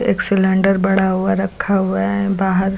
एक सिलेंडर पड़ा हुआ रखा हुआ है बाहर।